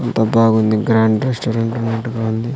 అంతా బాగుంది grand restaurant అన్నట్టుగా ఉంది.